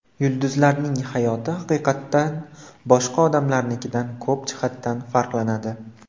Yulduzlarning hayoti haqiqatdan boshqa odamlarnikidan ko‘p jihatdan farqlanadi.